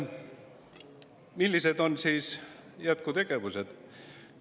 Millised on jätkutegevused?